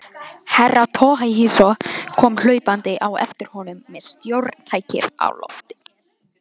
Herra Toahizo kom hlaupandi á eftir honum með stjórntækið á lofti.